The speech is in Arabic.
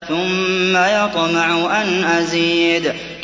ثُمَّ يَطْمَعُ أَنْ أَزِيدَ